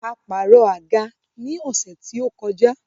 A pààrọ̀ àga ní ọ̀sẹ́ tí ó kọjá.